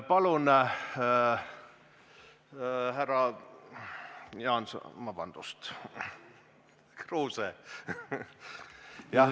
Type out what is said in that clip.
Palun, härra Kruuse!